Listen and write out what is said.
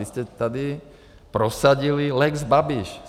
Vy jste tady prosadili lex Babiš.